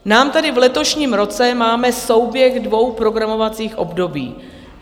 My tady v letošním roce máme souběh dvou programovacích období.